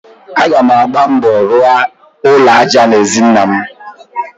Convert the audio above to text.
Aga m agba mbọ rụọ ụlọ aja n'ezi nnam.